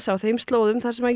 á þeim slóðum þar sem